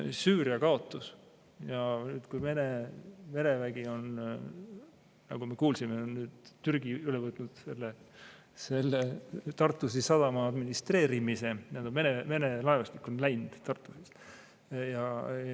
Aga Süüria kaotus ja Vene mereväe – nagu me kuulsime, Türgi on üle võtnud Tartusi sadama administreerimise, Vene laevastik on Tartusist läinud.